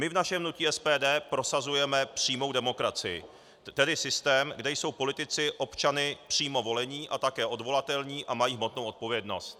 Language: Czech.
My v našem hnutí SPD prosazujeme přímou demokracii, tedy systém, kde jsou politici občany přímo volení a také odvolatelní a mají hmotnou odpovědnost.